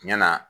Tiɲɛ na